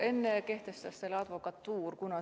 Enne kehtestas selle advokatuur.